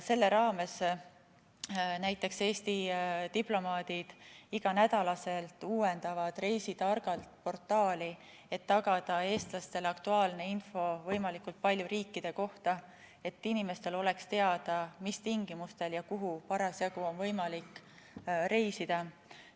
Selle raames uuendavad Eesti diplomaadid iga nädal portaali Reisi Targalt, et tagada eestlastele aktuaalne info võimalikult paljude riikide kohta, et inimestel oleks teada, mis tingimustel ja kuhu parasjagu on võimalik reisida.